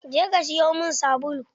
Je ka siyo min sabulu!